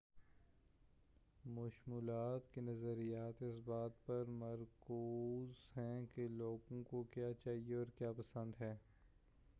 مشمولات کے نظریات اس بات پر مرکوز ہیں کہ لوگوں کو کیا چاہئے اور کیا پسند ہے